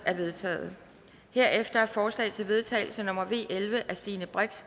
er vedtaget herefter er forslag til vedtagelse nummer v elleve af stine brix